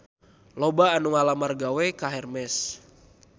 Loba anu ngalamar gawe ka Hermes